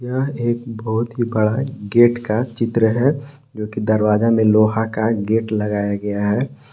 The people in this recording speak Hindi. यह एक बहुत ही बड़ा गेट का चित्र है जो कि दरवाजा में लोहा का गेट लगाया गया है।